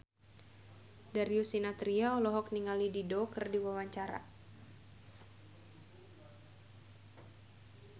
Darius Sinathrya olohok ningali Dido keur diwawancara